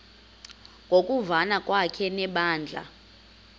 ngokuvana kwakhe nebandla